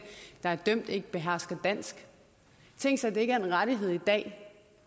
der er dømt ikke behersker dansk tænk sig at det ikke er en rettighed i dag